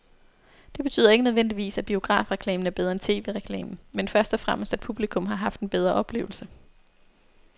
Det betyder ikke nødvendigvis, at biografreklamen er bedre end tv-reklamen, men først og fremmest at publikum har haft en bedre oplevelse.